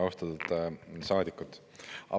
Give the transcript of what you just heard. Austatud saadikud!